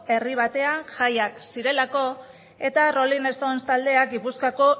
herri batean jaiak zirelako eta rolling stones taldea gipuzkoako